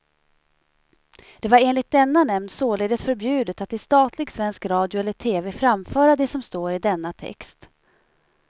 Det var enligt denna nämnd således förbjudet att i statlig svensk radio eller tv framföra det som står i denna text.